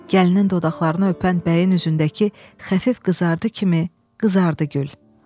Gəlinin dodaqlarını öpən bəyin üzündəki xəfif qızardı kimi qızardı gül.